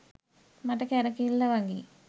මට කැරකිල්ල වගේ.